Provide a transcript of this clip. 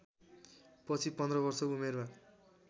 पछि पन्ध्र वर्षको उमेरमा